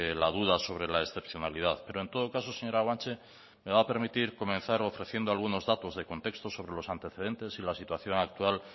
la duda sobre la excepcionalidad pero en todo caso señora guanche me va a permitir comenzar ofreciendo algunos datos de contexto sobre los antecedentes y la situación actual